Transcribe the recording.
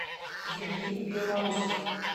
евгений белоусов